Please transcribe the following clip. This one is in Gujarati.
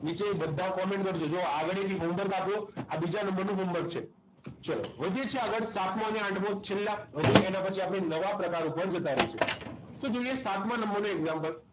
નીચે બધા comment કરજો જો આ પણ મે homework ર્આપ્યો આ બીજા નંબરનું homework છે ચાલો વધીએ છીએ આગળ સાતમો અને આઠમો છેલ્લા okay એના પછી આપણે નવા પ્રકાર ઉપર જતા રહીશું તો જોઈએ સાતમા નંબરનું example